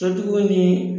Sotigiw ni